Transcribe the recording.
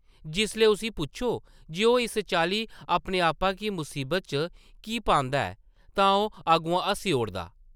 जिसलै उसगी पुच्छो जे ओह् इस चाल्ली अपने आपा गी मुसीबत च की पांदा ऐ तां ओह् अग्गुआं हस्सी ओड़दा ।